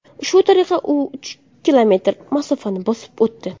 Shu tariqa u uch kilometr masofani bosib o‘tdi.